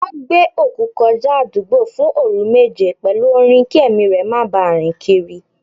Wọn gbé òkú kọjá àdúgbò fún òru méje pẹ̀lú orin kí ẹ̀mí rẹ má bà rìn kiri.